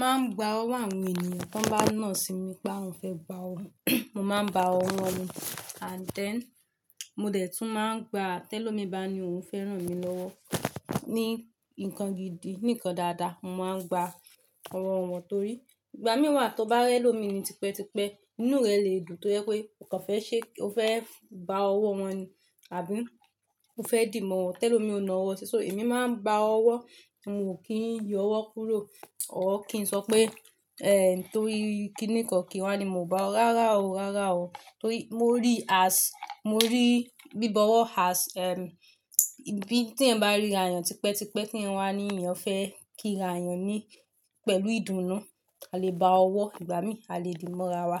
Máa ń gba ọwọ́ àwọn ènìyàn tan wọ́n bá nà sí mi pé wọ́n fẹ́ gba ọwọ́. Mo máa ń ba ọwọ́ wọn ni and then mo dé tún máa ń gba tẹ́lọmi ba ni òun fẹ́ ràn mí lọ́wọ́ ní nǹkan gidi, nǹkan dáadáa. Mo máa ń gba ọwọ̀ wọn torí ìgbà mí wà tó bá rẹ́ lọ́mi ni tipẹ́ tipẹ́ inú rẹ̀ lè dùn tó yẹ pé nǹkan fẹ́ ṣe, ó fẹ́ ba ọwọ́ wọn ni àbí ó fẹ́ dì mọ́ wọn tẹ́lo mi ó na ọwọ́ sí, so èmi máa ń gba ọwọ́ mọ ò kí ń yọ ọwọ́ kúrò. O ò kí ń sọ pé, eh, torí kíǹi kan kí wọn ni mo bá ọ, rárá o, rárá o. Torí mo rí as-- mo rí bíbọwọ́ as, ehm, bí tí ẹ̀ n bá ríra àyàn tipẹ́ tipẹ́ kí eeyan ni eeyan fẹ́ kíra eeyàn ni pẹ̀lú ìdùnnú. A lè ba ọwọ́ ìgbà mí, a lè dì mọ́ ara wa.